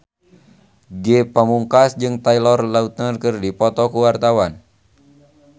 Ge Pamungkas jeung Taylor Lautner keur dipoto ku wartawan